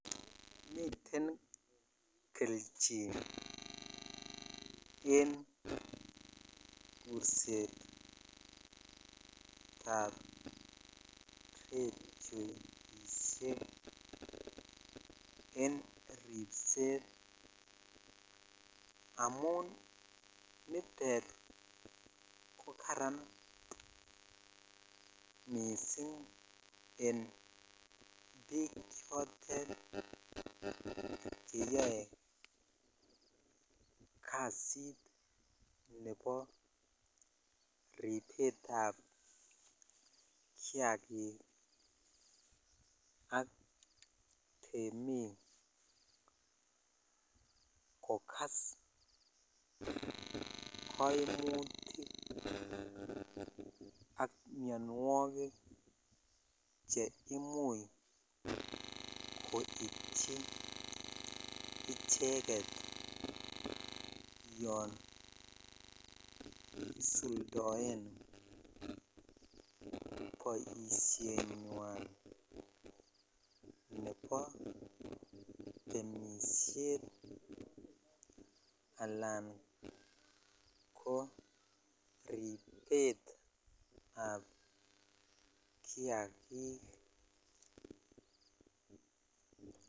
Miten kelchin en kurset ab retioisek en ripset amun nitet ko Karen missing en biik chotet cheyoe kasit nebo rebetabkiagik ak temik kokass kaimutik ak miowegik che imuch koityi icheket yon isuldoen boishenywan nebo temishet alan ko ripetab kiagik.